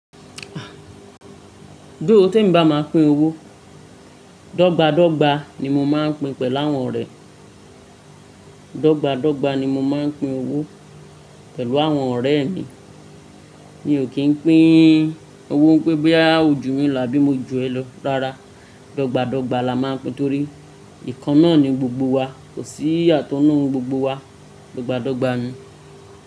Though témi bá máa pín owó, dọ́gba-dọ́gba ni mo máa ń pin pẹ̀láwọn ọ̀rẹ́. Dọ́gba dọ́gba ni mo máa ń pín owó pẹ̀lú àwọn ọ̀rẹ́ mi. Mi ò kí ń pín owó ńpé bóyá o jù mí lọ àbí mo jù ẹ́ lọ. Rárá, dọ́gba dọ́gba la máa ń pín torí ìkan náà ni gbogbo wa. Kò sí ìyàtọ̀ nínú gbogbo wa. Dọ́gba dọ́gba ni.